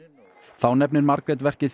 þá nefnir Margrét verkið